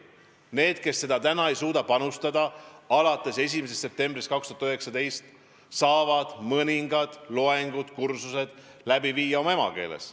Need, kes ei suuda alates 1. septembrist 2019 õppida sada protsenti eesti keeles, saavad mõningad loengud või kursused läbi teha oma emakeeles.